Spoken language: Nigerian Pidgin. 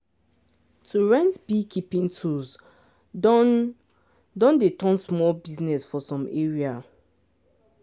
to rent beekeeping tools don don dey turn small business for some area.